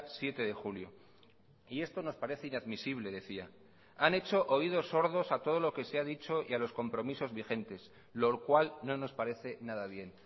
siete de julio y esto nos parece inadmisible decía han hecho oídos sordos a todo lo que se ha dicho y a los compromisos vigentes lo cual no nos parece nada bien